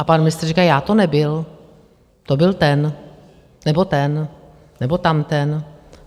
A pan ministr říkal: Já to nebyl, to byl ten, nebo ten, nebo tamten.